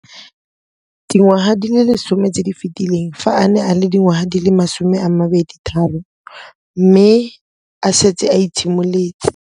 Dingwaga di le 10 tse di fetileng, fa a ne a le dingwaga di le 23 mme a setse a itshimoletse.